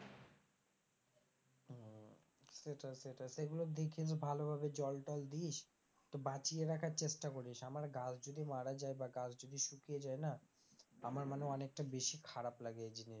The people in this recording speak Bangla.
সেটা সেটাই সেগুলো দেখিস ভালোভাবে জল টল দিস তো বাঁচিয়ে রাখার চেষ্টা করিস আমার গাছ যদি মারা যায় বা গাছ যদি শুকিয়ে যায় না আমার মানে অনেকটা বেশি খারাপ লাগে এই জিনিশ গুলো।